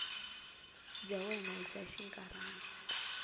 bya wena i bya xinkarhana